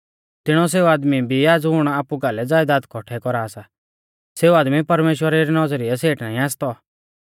तिणौ सेऊ आदमी भी आ ज़ुण आपु कालै ज़यदाद कौठै कौरा सा सेऊ आदमी परमेश्‍वरा री नौज़रीऐ सेठ नाईं आसतौ